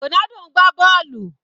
Ronaldo ń gbá bọ́ọ̀lù.